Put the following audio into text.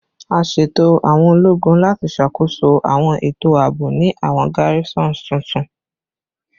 A ṣeto awọn ologun lati ṣakoso awọn eto aabo ni awọn garrisons tuntun